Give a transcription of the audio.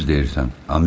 Düz deyirsən.